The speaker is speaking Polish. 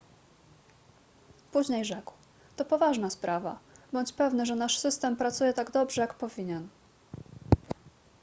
później rzekł to poważna sprawa bądź pewny że nasz system pracuje tak dobrze jak powinien